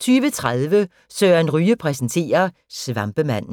20:30: Søren Ryge præsenterer: Svampemanden